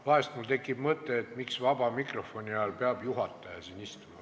Vahel mul tekib mõte, et miks peab juhataja siin vaba mikrofoni ajal istuma.